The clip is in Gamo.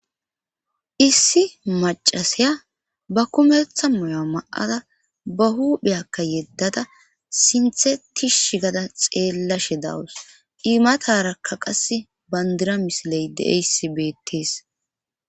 Issi macasiya ba kumettha moya ma7ada ba hupheyakka yeddada sinthe tish gada xeellashe dawus imatarakka qase bandira misiley de7aysibettees